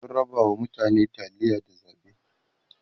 sun rabawa mutane taliya da zaɓe